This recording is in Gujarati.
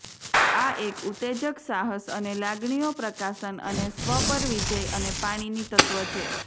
આ એક ઉત્તેજક સાહસ અને લાગણીઓ પ્રકાશન અને સ્વ પર વિજય અને પાણીની તત્વ છે